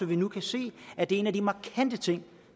vi nu kan se at det er en af de markante ting